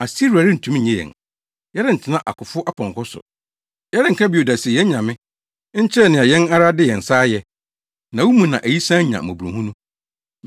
Asiria rentumi nnye yɛn; yɛrentena akofo apɔnkɔ so. Yɛrenka bio da se, ‘Yɛn anyame’ nkyerɛ nea yɛn ara de yɛn nsa ayɛ, na wo mu na ayisaa nya mmɔborɔhunu.”